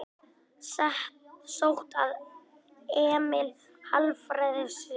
Sótt að Emil Hallfreðssyni